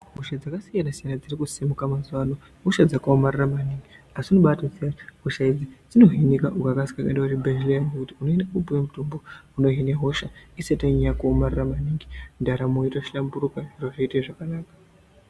Hosha dzakasiyana siyana dziri kusimuka mazuwa ano ihosha dzakaomarara maningi. Asi unobatoziya hosha idzi dzinohinika, ukakasika kuenda kuzvibhendleya zviya ngekuti unoenda koopuwa mutombo unohina hosha. Isati yanyanya kuomarara maningi ndaramo yotohlamburuka, zviro zvoita zvakanaka.